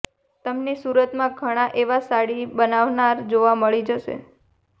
તમને સુરતમાં ઘણા એવા સાડી બનાવનારા જોવા મળી જશે